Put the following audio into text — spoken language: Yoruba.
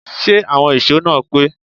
Ṣé àwọn ìṣó náà pé?